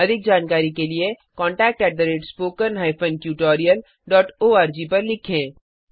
अधिक जानकारी के लिए contactspoken tutorialorg पर लिखें